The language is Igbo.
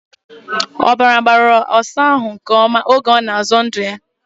Ọbara gbara ọsa ahụ nke ọma oge ọ na-azọ ndụ ya.